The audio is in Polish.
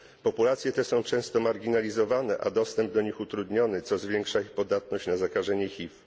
Populacje te są często marginalizowane, a dostęp do nich utrudniony, co zwiększa ich podatność na zakażenie HIV.